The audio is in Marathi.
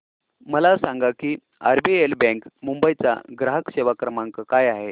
मला सांगा की आरबीएल बँक मुंबई चा ग्राहक सेवा क्रमांक काय आहे